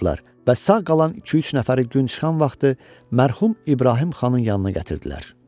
Və sağ qalan iki-üç nəfəri gün çıxan vaxtı mərhum İbrahim xanın yanına gətirdilər.